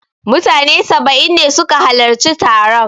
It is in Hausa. Mutane saba'in ne su ka halarci taron